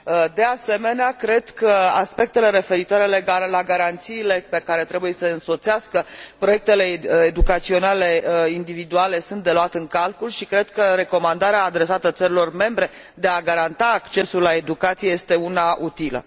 De asemenea, cred că aspectele referitoare la garanțiile care trebuie să însoțească proiectele educaționale individuale sunt de luat în calcul și cred că recomandarea adresată țărilor membre de a garanta accesul la educație este una utilă.